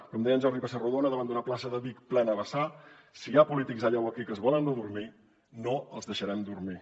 com deia en jordi pessarrodona davant d’una plaça de vic plena a vessar si hi ha polítics allà o aquí que es volen adormir no els deixarem dormir